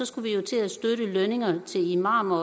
skulle vi jo til at støtte lønningerne til imamer